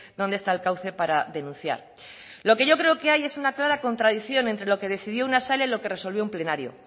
dónde está el cauce para denunciar lo que yo creo que hay es un clara contradicción entre lo que decidió una sala y lo que resolvió un plenario